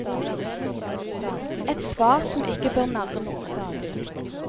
Et svar som ikke bør narre noen.